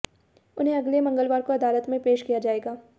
उन्हें अगले मंगलवार को अदालत में पेश किया जाएगा